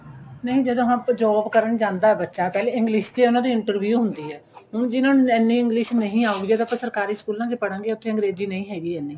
ਨਹੀਂ ਜਦੋ ਹਾਂ ਪਰ job ਕਰਨ ਜਾਂਦਾ ਬੱਚਾ ਪਹਿਲਾਂ English ਚ ਉਨ੍ਹਾਂ ਦੀ interview ਹੁੰਦੀ ਏ ਹੁਣ ਜਿਹਨਾ ਨੂੰ ਇੰਨੀ English ਨਹੀਂ ਆਉਗੀ ਜਦੋਂ ਆਪਾਂ ਸਰਕਾਰੀ ਸਕੂਲਾ ਚ ਪੜਾਗੇ ਉੱਥੇ ਅੰਗਰੇਜੀ ਨਹੀਂ ਹੈਗੀ ਇੰਨੀ